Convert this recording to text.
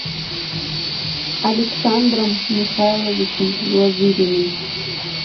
александром михайловичем глазыриным